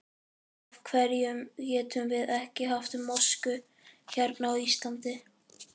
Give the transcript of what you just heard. Af hverjum getum við ekki haft mosku hérna á Íslandi?